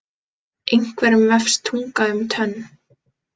Einhverjum vefst tunga um tönn